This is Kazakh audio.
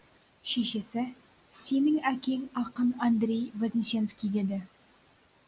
шешесі сенің әкең ақын андрей вознесенский деді